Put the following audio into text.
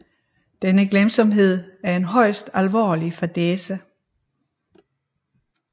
Denne glemsomhed er en højst alvorlig fadæse